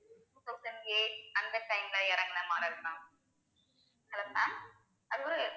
two thousand அந்த time ல இறங்கின model தான் hello mam